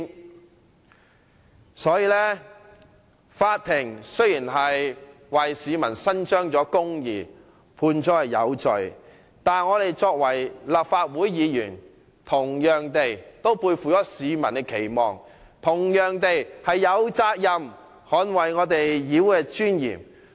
因此，法庭雖然已為市民伸張公義，判鄭松泰有罪，但我們作為立法會議員，同樣背負市民的期望，同樣有責任捍衞立法會的尊嚴。